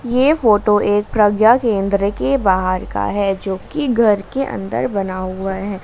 ये फोटो एक प्रज्ञा केंद्र के बाहर का है जोकि घर के अंदर बना हुआ है।